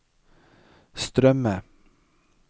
strømme